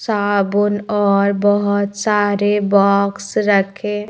सबून और बहुत सारे बॉक्स रखे--